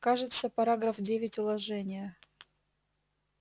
кажется параграф девять уложения